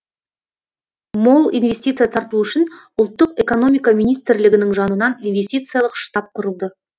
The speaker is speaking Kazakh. мол инвестиция тарту үшін ұлттық экономика министрлігінің жанынан инвестициялық штаб құрылды